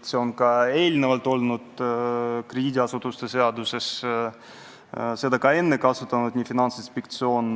Ja see mõiste on juba enne krediidiasutuste seaduses, seda on ka varem kasutanud Finantsinspektsioon